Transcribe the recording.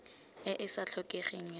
e e sa tlhokegeng ya